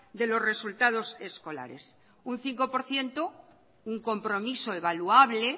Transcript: de los resultados escolares un cinco por ciento un compromiso evaluable